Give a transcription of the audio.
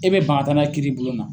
E bɛ ban ka taa n'a ye kiiribulon na.